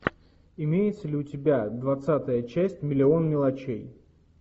имеется ли у тебя двадцатая часть миллион мелочей